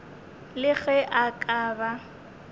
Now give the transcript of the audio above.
le ge a ka ba